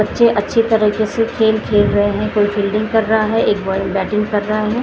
बच्चे अच्छे तरीक़े से खेल खेल रहे कोई फील्डिंग कर रहा हैं एक बॉय बैटिंग कर रहा हैं।